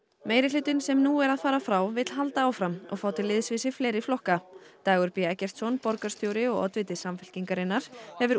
meirihlutinn sem nú er að fara frá vill halda áfram og fá til liðs við sig fleiri flokka Dagur b Eggertsson borgarstjóri og oddviti Samfylkingarinnar hefur